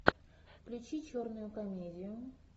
включи черную комедию